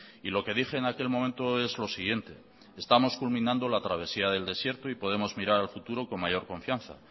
y lo que dije en aquel momento es lo siguiente estamos culminando la travesía del desierto y podemos mirar al futuro con mayor confianza